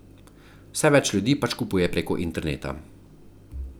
Vse več ljudi pač kupuje preko interneta.